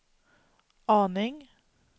aning